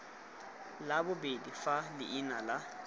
la bobedi fa leina la